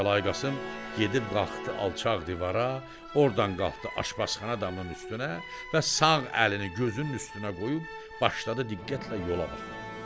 Kərbəlayı Qasım gedib qalxdı alçaq divara, ordan qalxdı aşpazxana damının üstünə və sağ əlini gözünün üstünə qoyub başladı diqqətlə yola baxmağa.